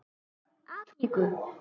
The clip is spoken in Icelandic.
Úr Afríku!